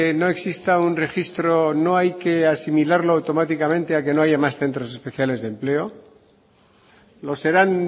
no exista un registro no hay que asimilarlo automáticamente a que no haya más centros especiales de empleo lo serán